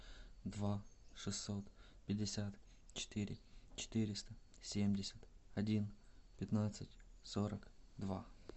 два шестьсот пятьдесят четыре четыреста семьдесят один пятнадцать сорок два